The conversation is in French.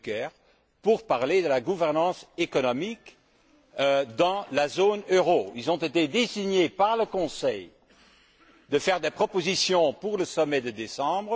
Juncker pour parler de la gouvernance économique dans la zone euro. Ils ont été désignés par le Conseil afin de faire des propositions pour le sommet de décembre.